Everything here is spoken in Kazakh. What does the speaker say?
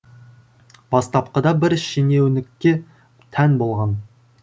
бастапқыда бір шенеунікке тән болған